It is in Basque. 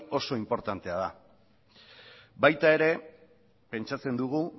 oso inportantea da baita ere pentsatzen dugu